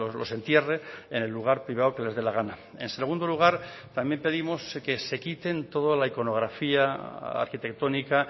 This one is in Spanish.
los entierre en el lugar privado que les dé la gana en segundo lugar también pedimos que se quiten toda la iconografía arquitectónica